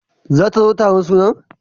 Zata zo taron sunan?